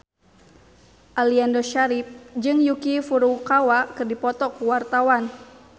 Aliando Syarif jeung Yuki Furukawa keur dipoto ku wartawan